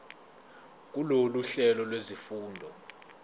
kulolu hlelo lwezifundo